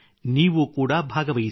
ನೀವು ಕೂಡ ಭಾಗವಹಿಸಿ